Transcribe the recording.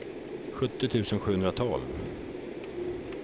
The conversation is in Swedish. sjuttio tusen sjuhundratolv